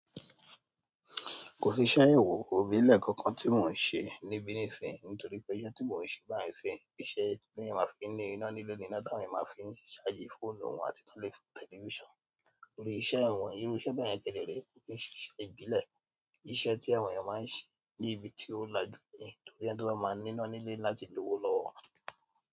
Kò sí iṣẹ́, òwò ìbílẹ̀ kankan tí mo se níbí nísìsiyìí nítorí pé iṣẹ́ tí mo ń se báyìí nísìsiyìí, iṣẹ́ tí èèyàn má fi ní iná nílé, iná tí àwọn ènìyàn má fín charge fóònù wọn àti tán lè fi wo tẹlifísàn. Lórí iṣẹ́ èwọ̀n, irú iṣẹ́ bẹ́ẹ̀ yẹn kéré tó kí n ṣe iṣẹ́ ìbílẹ̀. Iṣẹ́ tí àwọn ènìyàn máa ń ṣe níbi tí ó lájú ú ní nítorí pé ẹ́ tó máa ń ní iná ní ilé láti lówó lọ́wọ́.